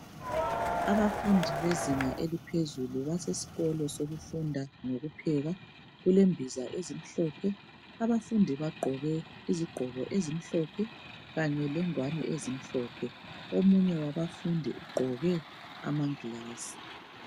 Abafundi bezinga eliphezulu basesikolo sokufunda ngokupheka, kulembiza ezimhlophe. Abafundi bagqoke impahla ezimhlophe kanye lengwane ezimhlophe. Omunye wabafundi ugqoke amagilasi.